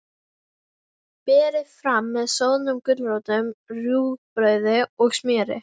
Berið fram með soðnum gulrótum, rúgbrauði og smjöri.